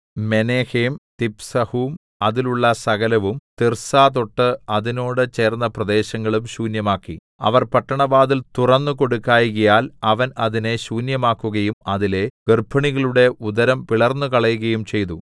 Menahem തിപ്സഹും അതിലുള്ള സകലവും തിർസ്സാതൊട്ട് അതിനോട് ചേർന്ന പ്രദേശങ്ങളും ശൂന്യമാക്കി അവർ പട്ടണവാതിൽ തുറന്നു കൊടുക്കായ്കയാൽ അവൻ അതിനെ ശൂന്യമാക്കുകയും അതിലെ ഗർഭിണികളുടെ ഉദരം പിളർന്നുകളകയും ചെയ്തു